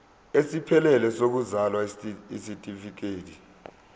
esiphelele sokuzalwa isitifikedi